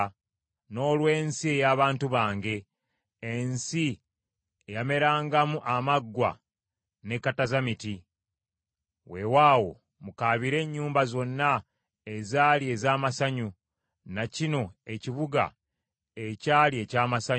n’olw’ensi ey’abantu bange, ensi eyamerangamu amaggwa ne katazamiti. Weewaawo mukaabire ennyumba zonna ezaali ez’amasanyu, na kino ekibuga ekyali eky’amasanyu.